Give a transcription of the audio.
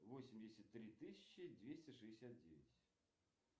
восемьдесят три тысячи двести шестьдесят девять